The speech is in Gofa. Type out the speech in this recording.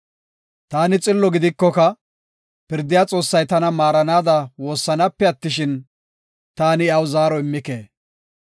Taani xillo gidikoka, pirdiya Xoossay tana maaranaada woossanaape attishin, taani iyaw zaaro immike.